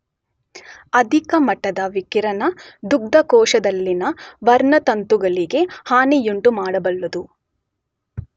ಅಧಿಕ ಮಟ್ಟದ ವಿಕಿರಣ ದುಗ್ಧಕೋಶದಲ್ಲಿನ ವರ್ಣತಂತುಗಳಿಗೆ ಹಾನಿಯುಂಟುಮಾಡಬಲ್ಲದು.